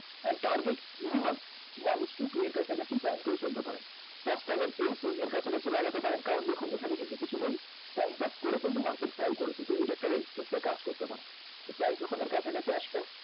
R target minimum one is to two এর কাছাকাছি plan করে চলতে পারেন। first আপনি এই এর কাছাকাছি লাগাতে পারেন কারণ দেখুন এখানে কিন্তু কিছুদিন time pass করে কিন্তু market fall করেছে তো এটা একটা resistance এর কাজ করতে পারে তো price যখন এর কাছাকাছি আসবে